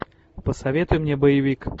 посоветуй мне боевик